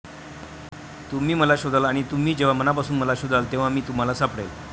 तुम्ही मला शोधाल आणि तुम्ही जेव्हा मनापासून मला शोधाल, तेव्हा मी तुम्हाला सापडेन.